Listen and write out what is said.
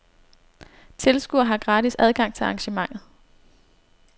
Tilskuere har gratis adgang til arrangementet.